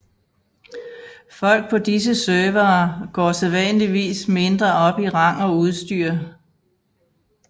Folk på disse servere går sædvanligvis mindre op i rang og udstyr